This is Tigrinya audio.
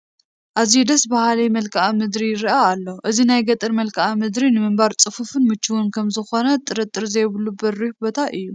ኣዝዩ ደስ በሃሊ መልክኣ ምድሪ ይርአ ኣሎ፡፡ እዚ ናይ ገጠር መልክኣ ምድሪ ንምንባር ፅፉፍን ምችውን ከምዝኾነ ጥርጥር ዘይብሉ በሪኽ ቦታ እዩ፡፡